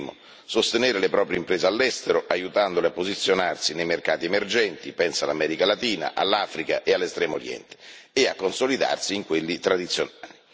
Il primo sostenere le proprie imprese all'estero, aiutandole a posizionarsi nei mercati emergenti, penso all'America Latina, all'Africa e all'Estremo Oriente, e a consolidarsi in quelli tradizionali.